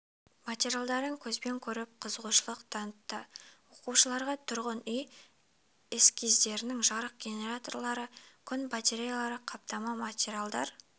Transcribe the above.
материалдарын көзбен көріп қызығушылық танытты оқушыларға тұрғын үй эскиздерінің жарық генераторлары күн батареялары қаптама материалдар